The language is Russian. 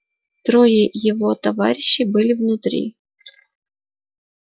трое его товарищей были внутри